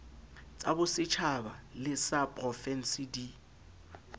tsabosetjhaba le ysa profense di